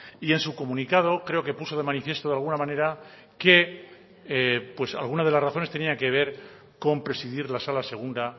y en su comunicado creo que puso de manifiesto de alguna manera que pues alguna de las razones tenía que ver con presidir la sala segunda